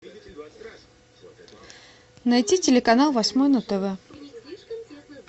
найти телеканал восьмой на тв